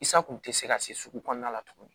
Isa kun te se ka se sugu kɔnɔna la tuguni